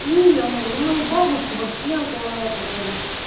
имя у него мою бабушку вообще антуанетта зовут